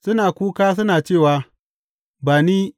Suna kuka suna cewa, Ba ni!